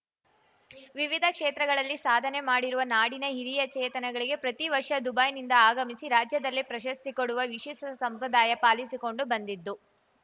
ವಿವಿಧ ಕ್ಷೇತ್ರಗಳಲ್ಲಿ ಸಾಧನೆ ಮಾಡಿರುವ ನಾಡಿನ ಹಿರಿಯ ಚೇತನಗಳಿಗೆ ಪ್ರತಿ ವರ್ಷ ದುಬೈನಿಂದ ಆಗಮಿಸಿ ರಾಜ್ಯದಲ್ಲೇ ಪ್ರಶಸ್ತಿ ಕೊಡುವ ವಿಶಿಷ್ಟಸಂಪ್ರದಾಯ ಪಾಲಿಸಿಕೊಂಡು ಬಂದಿದ್ದು